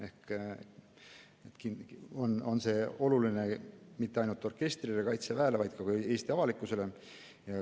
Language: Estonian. Kindlasti on see oluline mitte ainult orkestrile ja Kaitseväele, vaid ka Eesti avalikkusele.